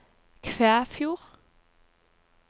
Kvæfjord